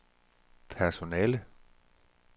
personale